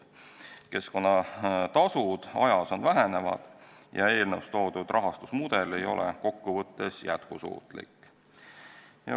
Keskkonnatasud ajas vähenevad ja eelnõus toodud rahastusmudel ei ole kokkuvõttes jätkusuutlik.